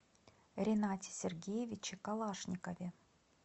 ринате сергеевиче калашникове